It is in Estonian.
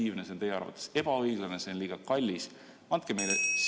Kas see on teie arvates ebaefektiivne, ebaõiglane või liiga kallis?